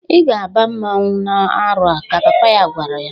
"I ga-aba mmọnwụ na-arọ a!" ka papa ya gwara ya.